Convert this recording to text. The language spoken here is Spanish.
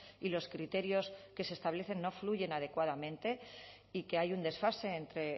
y los criterios que se establecen no fluyen adecuadamente y que hay un desfase entre